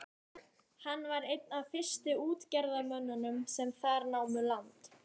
Hann var einn af fyrstu útgerðarmönnunum sem þar námu land.